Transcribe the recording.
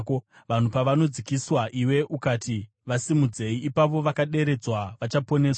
Vanhu pavanodzikiswa iwe ukati, ‘Vasimudzei!’ ipapo vakaderedzwa vachaponeswa.